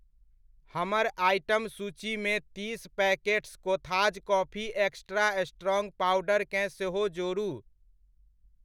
हमर आइटम सूचीमे तीस packets Kotha's coffee extra strong पाउडरकेँ सेहो जोड़ू।